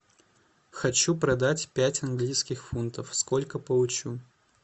хочу продать пять английских фунтов сколько получу